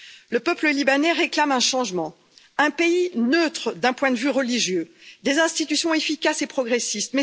Le peuple libanais réclame un changement un pays neutre d'un point de vue religieux, des institutions efficaces et progressistes...